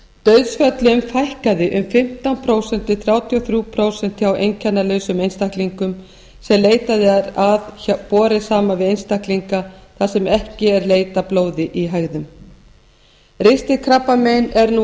dauðsföllum fækkað um fimmtán prósent til þrjátíu og þrjú prósent hjá einkennalausum einstaklingum sem leitað er hjá borið saman við einstaklinga þar sem ekki er leitað að blóði í hægðum ristilkrabbamein er nú